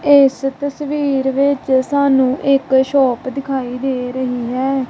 ਇਸ ਤਸਵੀਰ ਵਿੱਚ ਸਾਨੂੰ ਇੱਕ ਸ਼ੋਪ ਦਿਖਾਈ ਦੇ ਰਹੀ ਹੈ।